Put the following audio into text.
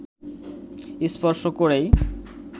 স্পর্শ করেই